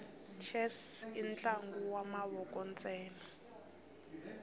chess intlangu wamavoko nsena